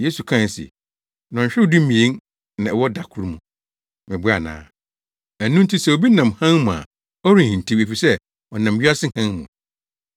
Yesu kae se, “Nnɔnhwerew dumien na ɛwɔ da koro mu, meboa ana? Ɛno nti sɛ obi nam hann mu a ɔrenhintiw, efisɛ ɔnam wiase hann mu.